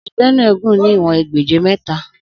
Odò Bénúè gùn ní ìwòn egbèje métà